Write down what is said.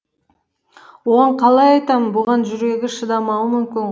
оған қалай айтамын бұған жүрегі шыдамауы мүмкін